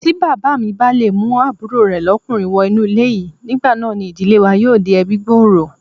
Tí Bàbámi bá le mú àbúrò rè lọ́'kùnrin wọ inú ilé yìí, nígbà náà ni ìdílé wa yóò di ẹbí-gbòòrò.